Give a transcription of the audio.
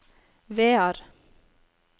Vear